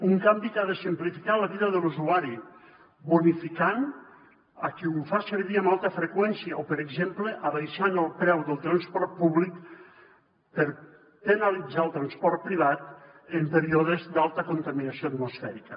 un canvi que ha de simplificar la vida de l’usuari bonificant a qui ho fa servir amb alta freqüència o per exemple abaixant el preu del transport públic per penalitzar el transport privat en períodes d’alta contaminació atmosfèrica